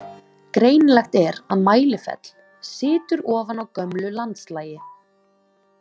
Greinilegt er að Mælifell „situr ofan á gömlu landslagi“.